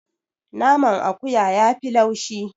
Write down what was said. Naman akuya yafi laushi.